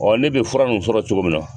ne bɛ fura n'u sɔrɔ cogo min nɔ ?